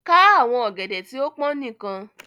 Kà àwọn ògèdè tí o pọn níkan!